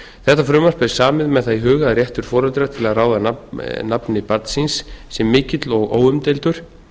þetta frumvarp er samið með það í huga að réttur foreldra til að ráða nafni barns síns sé mikill og óumdeildur